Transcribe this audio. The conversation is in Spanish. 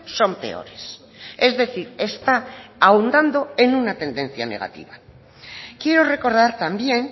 son peores es decir está ahondando en una tendencia negativa quiero recordar también